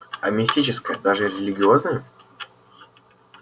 а мистическое даже религиозное